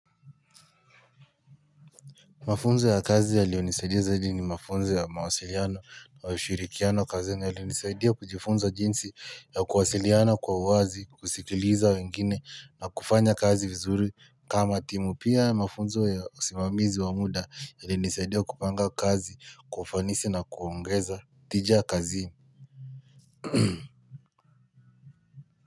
Mafunzo ya kazi yaliyo nisaidia zaidi ni mafunzo ya mawasiliano na ushirikiano kazi yalinisaidia kujifunza jinsi ya kuwasiliana kwa wazi kusikiliza wengine na kufanya kazi vizuri kama timu pia ya mafunzo ya simamizi wamuda yalinisaidia kupanga kazi kwa ufanisi na kuongeza tija kazini.